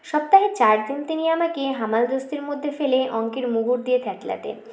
সপ্তাহের চার দিন তিনি আমাকে হামালদিস্তার মধ্যে ফেলে অঙ্কের মুগুর দিয়ে থ্যতলাতেন